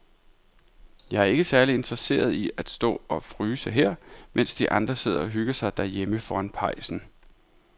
Jeg er ikke særlig interesseret i at stå og fryse her, mens de andre sidder og hygger sig derhjemme foran pejsen.